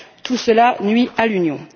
Tout cela nuit à l'Union!